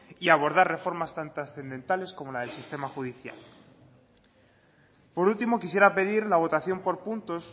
y abordar reformas tan trascendentales como la del sistema judicial por último quisiera pedir la votación por puntos